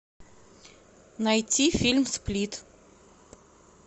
найти фильм сплит